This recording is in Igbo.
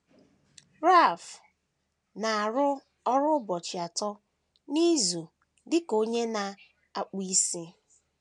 Ralph na - arụ ọrụ ụbọchị atọ n’izu dị ka onye na - akpụ isi.